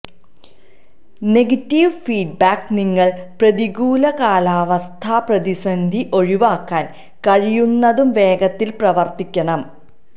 negative feedback നിങ്ങൾ പ്രതികൂല കാലാവസ്ഥാ പ്രതിസന്ധി ഒഴിവാക്കാൻ കഴിയുന്നതും വേഗത്തിൽ പ്രവർത്തിക്കണം